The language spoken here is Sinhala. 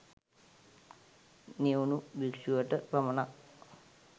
නිවුණු භික්ෂුවට පමණක්